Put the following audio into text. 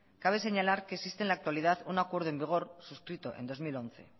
cabe señalar que existe en la actualidad un acuerdo en vigor suscrito en dos mil once